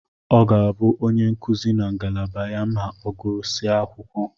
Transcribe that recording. Ọ ga-abụ onye nkuzi na ngalaba ya ma ọ gụsịrị akwụkwọ.